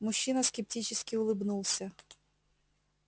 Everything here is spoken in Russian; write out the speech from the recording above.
мужчина скептически улыбнулся